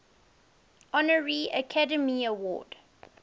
honorary academy award